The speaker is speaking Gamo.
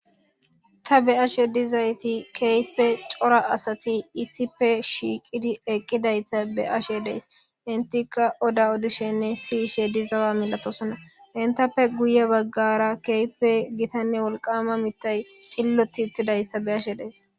ta be7ashe dizayti kehipe cora asati issipe shiiqidi eqqidayta be7ashe dees intika oda odishenne si ishe di zawa milatosona hintappe guye baggara keype gitanne wolqama mittay cilloti ittidayssa be ashe dees